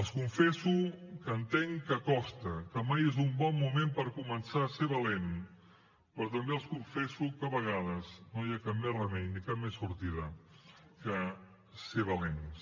els confesso que entenc que costa que mai és un bon moment per començar a ser valent però també els confesso que a vegades no hi ha cap més remei ni cap més sortida que ser valents